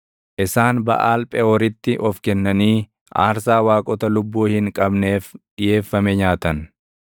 Isaan Baʼaal Pheʼooritti of kennanii aarsaa waaqota lubbuu hin qabneef dhiʼeeffame nyaatan.